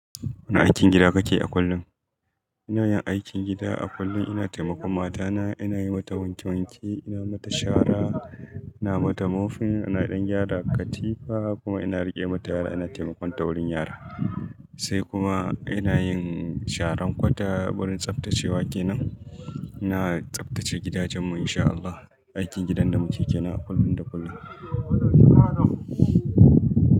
Wane aikin gida kake a kullum? Ina yin aikin gida a kullum. Ina taimakon matana, ina yi mata wanke wanke, ina mata shara, ina mata mofin, ina ɗan gyara katifa kuma ina riƙe mata yara, ina taimakon taurin yara. Sai kuma ina yin sharan kwata wurin tsaftacewa kenan. Ina tsaftace gidajen mu in sha Allah. Aikin gidan da muke ke nan a kullum da kullum.